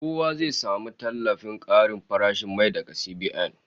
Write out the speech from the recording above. Kowa zai samu tallafin karin farashin mai daga CBN